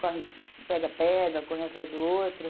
Corre, pega, pega, correr atrás do outro.